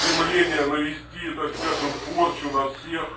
стремление навести так скажем порчу на всех